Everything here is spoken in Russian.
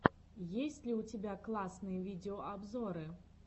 есть ли у тебя классные видеообзоры